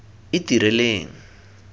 itireleng